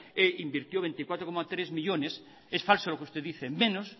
e invirtió veinticuatro coma tres millónes es falso lo que usted dice menos